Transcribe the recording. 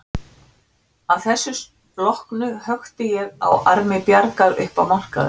Að þessu loknu hökti ég á armi Bjargar upp á markaðinn.